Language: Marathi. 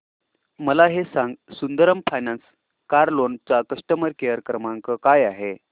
मला हे सांग सुंदरम फायनान्स कार लोन चा कस्टमर केअर क्रमांक काय आहे